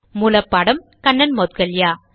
மூல பாடம் கண்ணன் மௌட்கல்யா